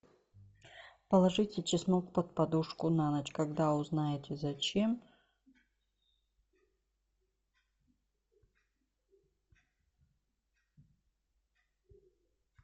положите чеснок под подушку на ночь когда узнаете зачем